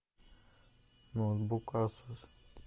ноутбук асус